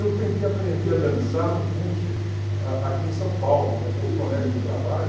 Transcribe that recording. Eu tentei aprender a dançar num curso aqui em São Paulo, com os colegas do trabalho.